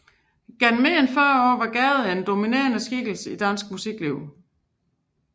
Gennem mere end fyrre år var Gade den dominerende skikkelse i dansk musikliv